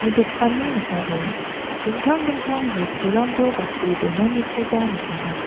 dokanni ning·ao dingtang dingtang bosturangko gate donanikoba nikenga.